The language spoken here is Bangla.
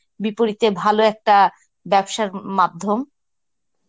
বিপরীতে ভালো একটা ব্যবসার ম~মাধ্যম.